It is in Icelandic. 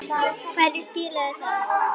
Hverju skilaði það?